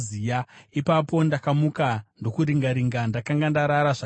Ipapo ndakamuka ndokuringa-ringa. Ndakanga ndarara zvakanaka.